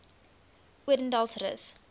odendaalsrus